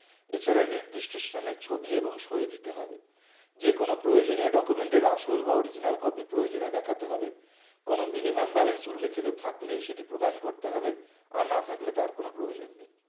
এছাড়া নির্দিষ্ট স্থানে ছবি এবং সই দিতে হবে যেকোনো প্রয়োজনীয় document এর আসল বা original copy প্রয়োজনে দেখতে হবে কোনো minimum balance উল্যেখিত থাকলে সেটি প্রদান করতে হবে আর না থাকলে তার কোনো প্রয়োজন নেই